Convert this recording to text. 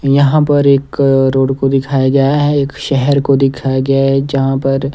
यहां पर एक रोड़ को दिखाया गया है एक शहर को दिखाया गया है जहां पर--